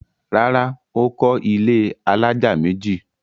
Rárá, Ó kọ́ ilẹ́ alájà méjì